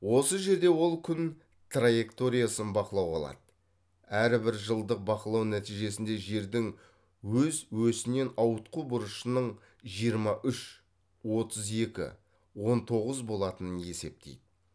осы жерде ол күн траекториясын бақылауға алады әрі бір жылдық бақылау нәтижесінде жердің өз өсінен ауытқу бұрышының жиырма үш отыз екі он тоғыз болатынын есептейді